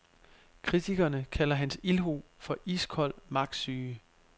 Kritikerne kalder hans ildhu for iskold magtsyge.